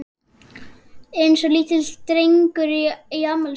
Eins og litlir drengir í afmælisboði.